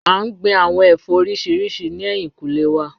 A n gbin awọn ẹfọ oriṣiriṣi ni ẹhin kule wa.